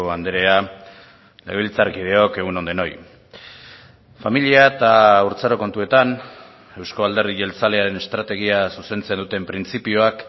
andrea legebiltzarkideok egun on denoi familia eta haurtzaro kontuetan euzko alderdi jeltzalearen estrategia zuzentzen duten printzipioak